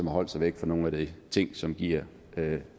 har holdt sig væk fra nogle af de ting som giver